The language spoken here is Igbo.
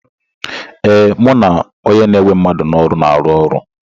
Ee, mụ na onye na-ewe mmadụ n'ọrụ na-arụ ọrụ.